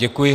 Děkuji.